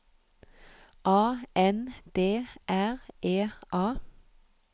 A N D R E A